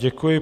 Děkuji.